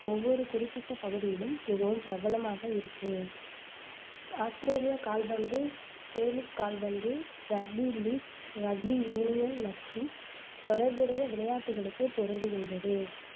ஒவ்வொரு குறிப்பிட்ட பகுதியிலும் மிகவும் பிரபலமாக இருக்கு ஆஸ்திரேலிய கால்பந்து, கேலிக் கால்பந்து, ரக்பி லீக், ரக்பி யூனியன் மற்றும் தொடர்புடைய விளையாட்டுகளுக்குப் பொருந்துகின்றது